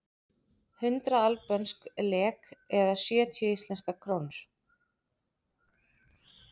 Hundrað albönsk lek eða sjötíu íslenskar krónur.